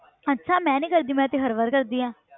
ਅੱਛਾ ਮੈਂ ਨੀ ਕਰਦੀ ਮੈਂ ਤੇ ਹਰ ਵਾਰ ਕਰਦੀ ਹਾਂ।